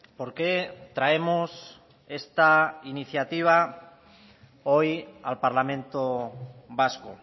por qué traemos esta iniciativa hoy al parlamento vasco